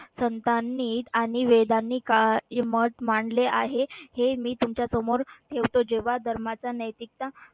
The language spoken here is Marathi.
संतांनी आणि वेदांनी मत मांडले आहे हे मी तुमच्यासमोर ठेवतो. जेव्हा धर्माचा नैतिकता